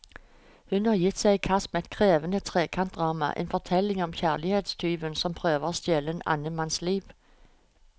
Hun har gitt seg i kast med et krevende trekantdrama, en fortelling om kjærlighetstyven som prøver å stjele en annen manns liv.